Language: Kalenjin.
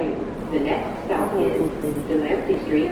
Bo kogo teret